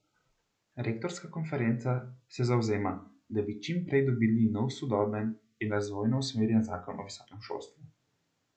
Rektorska konferenca se zavzema, da bi čim prej dobili nov sodoben in razvojno usmerjen zakon o visokem šolstvu.